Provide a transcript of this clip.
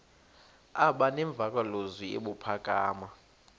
aba nemvakalozwi ebuphakama